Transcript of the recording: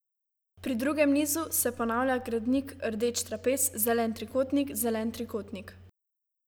Pri drugem nizu se ponavlja gradnik rdeč trapez, zelen trikotnik, zelen trikotnik.